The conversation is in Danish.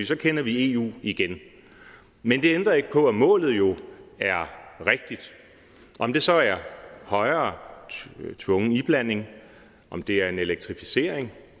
så kender vi eu igen men det ændrer ikke på at målet jo er rigtigt om det så er højere tvungen iblanding om det er en elektrificering